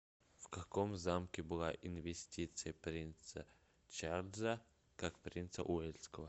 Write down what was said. в каком замке была инвестиция принца чарльза как принца уэльского